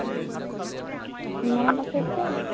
মনত আছে তোৰ